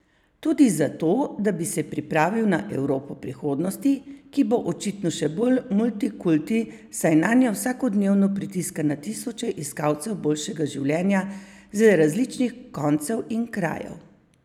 Tudi zato, da bi se pripravil na Evropo prihodnosti, ki bo očitno še bolj multikulti, saj nanjo vsakodnevno pritiska na tisoče iskalcev boljšega življenja z različnih koncev in krajev.